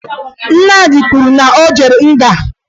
Nnamdị kwuru na o jere nga